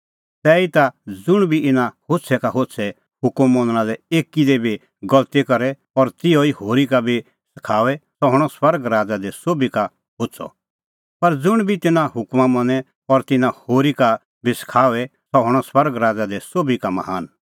तैहीता ज़ुंण बी इना होछ़ै का होछ़ै हुकमा मनणा लै एकी दी बी गलती करे और तिहअ ई होरी का बी सखाओए सह हणअ स्वर्ग राज़ा दी सोभी का होछ़अ पर ज़ुंण बी तिन्नां हुकमा मनें और तिन्नां होरी का बी सखाओए सह हणअ स्वर्ग राज़ा दी सोभी का महान